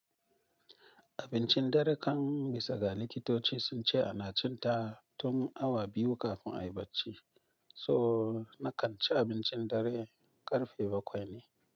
Abincin dare kan bisa ga likitoci sun ce ana cin ta tun awa biyu kafin a yi bacci. So na kan ci abincin dare ƙarfe bakwai ne.